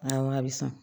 Aa a bɛ san